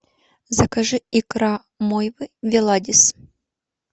закажи икра мойвы веладис